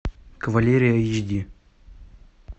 кавалерия эйч ди